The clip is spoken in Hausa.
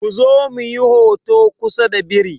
Ku zo muyi hoto kusa da biri!